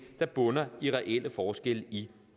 der bunder i reelle forskelle i